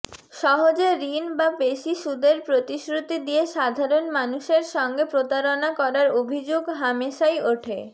সহজে ঋণ বা বেশি সুদের প্রতিশ্রুতি দিয়ে সাধারণ মানুষের সঙ্গে প্রতারণা করার অভিযোগ হামেশাই ওঠে